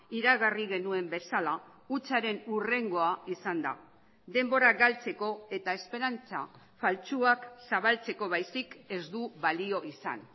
iragarri genuen bezala hutsaren hurrengoa izan da denbora galtzeko eta esperantza faltsuak zabaltzeko baizik ez du balio izan